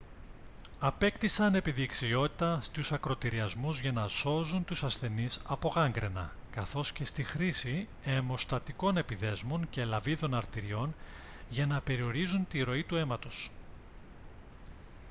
απέκτησαν επιδεξιότητα στους ακρωτηριασμούς για να σώζουν τους ασθενείς από γάγγραινα καθώς και στη χρήση αιμοστατικών επιδέσμων και λαβίδων αρτηριών για να περιορίζουν τη ροή του αίματος